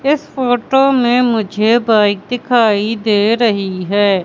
इस फोटो में मुझे बाइक दिखाई दे रही है।